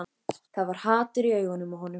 Það var hatur í augunum á honum.